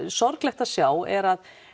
sorglegt að sjá er að